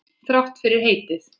Þrátt fyrir heitið.